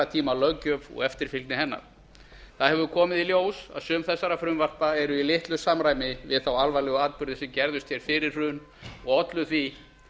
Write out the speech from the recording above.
tíma löggjöf og eftirfylgni hennar það hefur komið í ljós að sum þessara frumvarpa eru í litlu samræmi við þá alvarlegu atburði sem gerðust hér fyrir hrun og ollu því